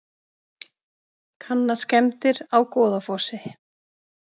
Kanna skemmdir á Goðafossi